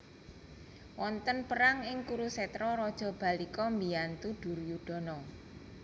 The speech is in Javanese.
Wonten perang ing Kurusetra Raja Bahlika mbiyantu Duryudana